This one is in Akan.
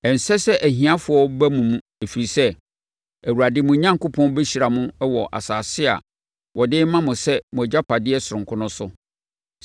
Ɛnsɛ sɛ ahiafoɔ ba mo mu ɛfiri sɛ, Awurade, mo Onyankopɔn bɛhyira mo wɔ asase a ɔde rema mo sɛ mo agyapadeɛ sononko no so.